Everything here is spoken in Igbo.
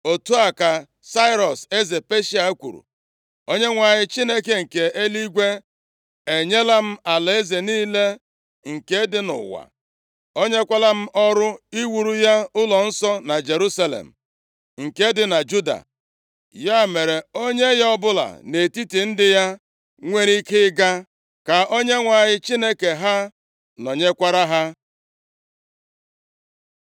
“Otu a ka Sairọs, eze Peshịa kwuru: “‘ Onyenwe anyị, Chineke nke eluigwe, e nyela m alaeze niile nke dị nʼụwa. O nyekwala m ọrụ iwuru ya ụlọnsọ na Jerusalem, nke dị na Juda. Ya mere, onye ya ọbụla nʼetiti ndị ya nwere ike ịga, ka Onyenwe anyị Chineke ha nọnyekwara ha.’ ”